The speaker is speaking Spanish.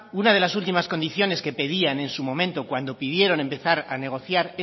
una de las últimas condiciones que pedían en su momento cuando pidieron empezar a negociar